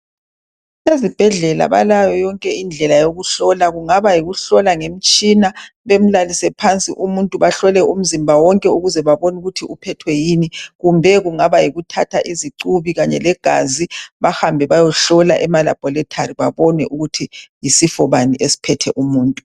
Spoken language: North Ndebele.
Ezibhedlela balayo yonke indlela yokuhlola kungaba yikuhlola ngemitshina bemlalise phansi umuntu bahlole umzimba wonke ukuze babone ukuthi uphethwe yini kumbe kungaba yikuthatha izicubi kanye legazi bahambe bayehlola elaboratory babone ukuthi yisifo bani esiphethe umuntu